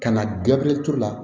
Ka na gafe la